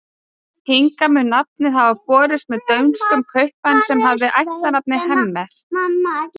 Hingað mun nafnið hafa borist með dönskum kaupmanni sem hafði ættarnafnið Hemmert.